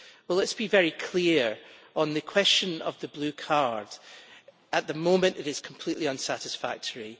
Well let us be very clear on the question of the Blue Card at the moment it is completely unsatisfactory.